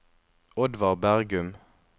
Oddvar Bergum